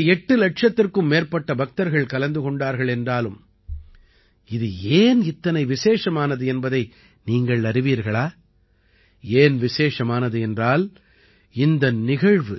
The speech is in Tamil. இதிலே எட்டு இலட்சத்திற்கும் மேற்பட்ட பக்தர்கள் கலந்து கொண்டார்கள் என்றாலும் இது ஏன் இத்தனை விசேஷமானது என்பதை நீங்கள் அறிவீர்களா ஏன் விசேஷமானது என்றால் இந்த நிகழ்வு